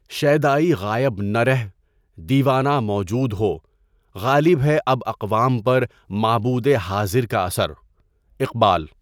شیدائی غائب نہ رہ ، دیوانہ موجود ہو، غالب ہے اب اقوام پر معبودِ حاضر کا اثر (اقبالؒ)